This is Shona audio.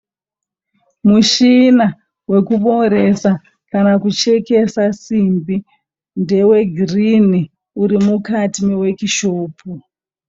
Muchina wekubooresa kana kuchekesa simbi ndewegirini. Uri mukati mewekishopu.